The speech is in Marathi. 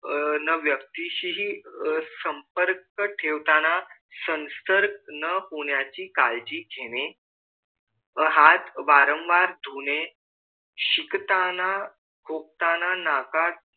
अह व्यक्तीशी हि संपर्क ठेवताना संसर्ग न होण्याचे काळजी घेणे व हात वारंवार धुणे शिंकताना खोकताना नाका